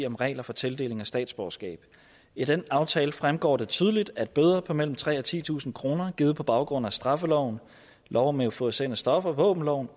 om regler for tildeling af statsborgerskab i den aftale fremgår det tydeligt at bøder på mellem tre tusind og titusind kroner givet på baggrund af straffeloven lov om euforiserende stoffer våbenloven